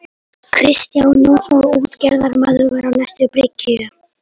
Kristján Jónsson útgerðarmaður var á næstu bryggju.